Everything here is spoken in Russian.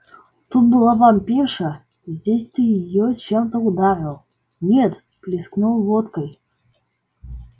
тут была вампирша здесь ты её чем-то ударил нет плеснул водкой